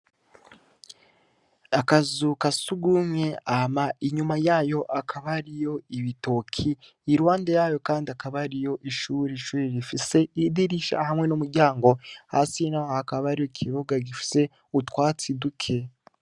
Akazu ka sugumwe, hama inyuma yayo hakaba hariyo ibitoki, iruhande yayo kandi hakaba hariyo ishuri, ishuri rifise idirisha hamwe n'umuryango, hasi naho hakaba hariho ikibuga gifise utwatsi duke.